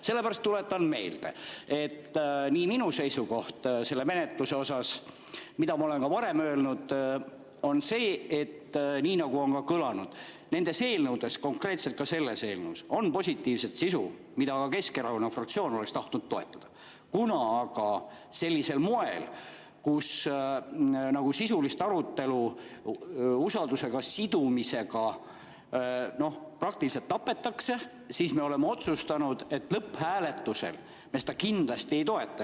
Sellepärast tuletan meelde, et minu seisukoht selle menetluse kohta, mida ma olen ka varem öelnud, on see, et nii nagu on ka kõlanud, nendes eelnõudes, konkreetselt ka selles eelnõus, on positiivset sisu, mida Keskerakonna fraktsioon oleks tahtnud toetada, kuna aga sisulist arutelu usaldus sidumisega praktiliselt tapetakse, siis me oleme otsustanud, et lõpphääletusel me seda kindlasti ei toeta.